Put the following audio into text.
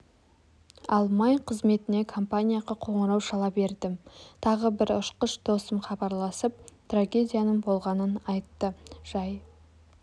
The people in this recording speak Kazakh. алмай қызметіне компанияға қоңырау шала бердім тағы бір ұшқыш досым хабарласып трагедияның болғанын айтты жай